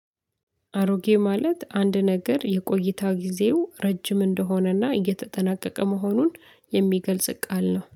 አሮጌ ማለት አንድ ነገር የቆይታው ጊዜው ረጅም እንደሆነና እየተጠናቀቀ መሆኑን የሚገልጽ ቃል ነው።